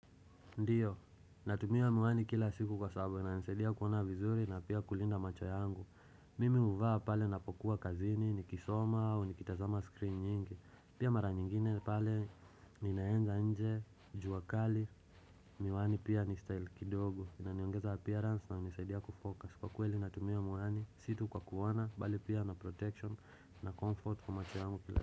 Ndiyo, natumia miwani kila siku kwa sababu inanisaidia kuona vizuri na pia kulinda macho yangu. Mimi huvaa pale ninapokuwa kazini, nikisoma au nikitazama screen nyingi. Pia mara nyingine pale ninaenda nje, jua kali, miwani pia ni style kidogo, inaniongeza appearance, inanisaidia kufocus. Kwa kweli natumia miwani, si tu kwa kuona, bali pia na protection na comfort kwa macho yangu kila.